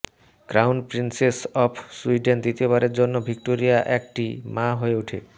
crown princess of Sweden দ্বিতীয়বারের জন্য Victoria একটি মা হয়ে ওঠে